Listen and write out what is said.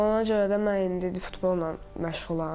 Ona görə də mən indi futbolla məşğulam.